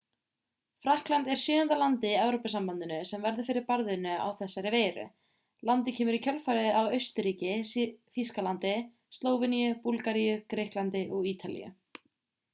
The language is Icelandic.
frakkland er sjöunda landið í evrópusambandinu sem verður fyrir barðinu á þessari veiru landið kemur í kjölfarið á austurríki þýskalandi slóveníu búlgaríu grikklandi og ítalíu